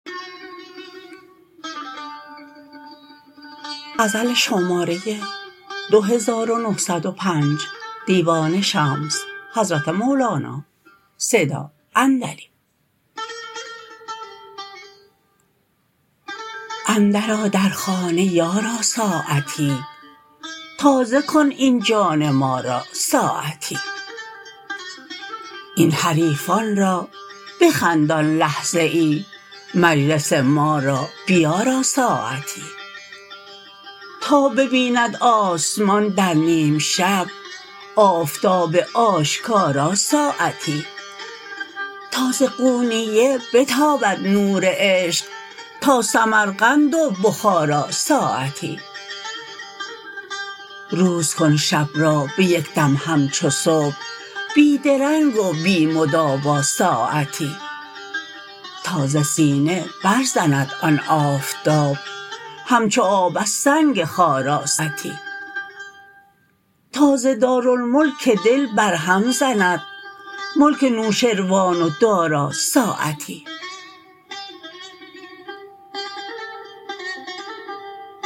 اندرآ در خانه یارا ساعتی تازه کن این جان ما را ساعتی این حریفان را بخندان لحظه ای مجلس ما را بیارا ساعتی تا ببیند آسمان در نیم شب آفتاب آشکارا ساعتی تا ز قونیه بتابد نور عشق تا سمرقند و بخارا ساعتی روز کن شب را به یک دم همچو صبح بی درنگ و بی مدارا ساعتی تا ز سینه برزند آن آفتاب همچو آب از سنگ خارا ساعتی تا ز دارالملک دل برهم زند ملک نوشروان و دارا ساعتی